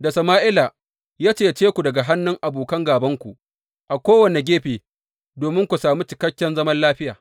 da Sama’ila, ya cece ku daga hannun abokan gābanku a kowane gefe domin ku sami cikakken zaman lafiya.